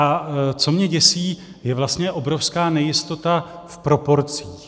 A co mě děsí, je vlastně obrovská nejistota v proporcích.